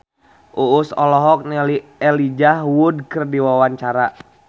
Uus olohok ningali Elijah Wood keur diwawancara